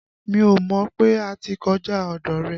Mí ò mọ̀ pé a ti kọjá ọ̀dọ̀ rẹ̀.